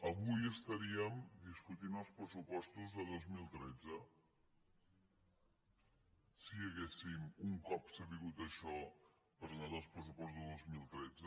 avui estaríem discutint els pressupostos de dos mil tretze si haguéssim un cop sabut això presentat els pressupostos del dos mil cent i tres